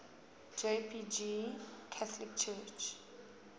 jpg coptic church